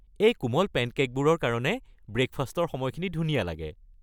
এই কোমল পেনকে'কবোৰৰ কাৰণে ব্ৰে'কফাষ্টৰ সময়খিনি ধুনীয়া লাগে।